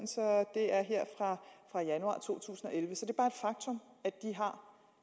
det er her fra januar to tusind og elleve så det